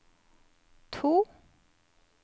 to